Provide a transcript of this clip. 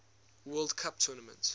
world cup tournament